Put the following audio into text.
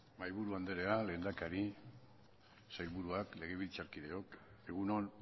mahaiburu andrea lehendakari sailburuak legebiltzarkideok egun on